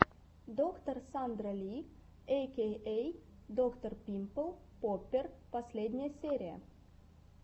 доктор сандра ли эй кей эй доктор пимпл поппер последняя серия